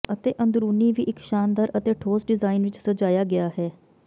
ਅਤੇ ਅੰਦਰੂਨੀ ਵੀ ਇੱਕ ਸ਼ਾਨਦਾਰ ਅਤੇ ਠੋਸ ਡਿਜ਼ਾਇਨ ਵਿੱਚ ਸਜਾਇਆ ਗਿਆ ਹੈ